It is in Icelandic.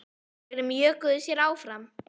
Þeir mjökuðu sér áfram.